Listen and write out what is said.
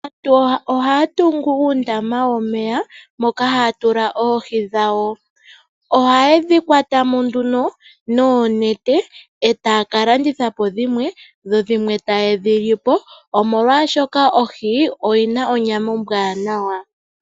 Aantu ohaa tungu uundama womeya moka haa tula oohi dhawo. Ohayedhi kwatamo nduno noonete etaa kalanditha po dhimwe, dho dhimwe taye dhilipo. Omolwashoka ohi oyina onyama ombwaanawa.